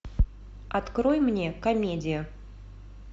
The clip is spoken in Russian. открой мне комедия